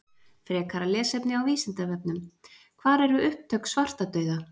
Frekara lesefni á Vísindavefnum: Hvar eru upptök svartadauða?